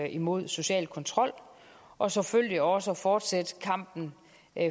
imod social kontrol og selvfølgelig også at fortsætte kampen